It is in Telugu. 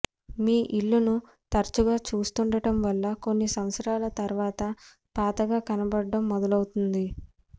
మీ ఇల్లును తరచుగా చూస్తుండటం వల్ల కొన్ని సంవత్సరాల తర్వాత పాతగా కనబడటం మొదలవుతుంది